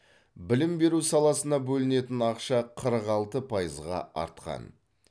білім беру саласына бөлінетін ақша қырық алты пайызғы артқан